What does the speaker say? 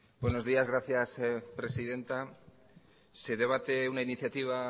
buenos días gracias presidenta se debate una iniciativa